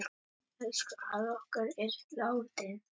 Elsku afi okkar er látinn.